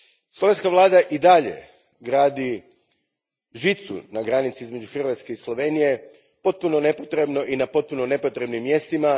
Slovenska vlada i dalje gradi žicu na granici između Hrvatske i Slovenije potpuno nepotrebno i na potpuno nepotrebnim mjestima.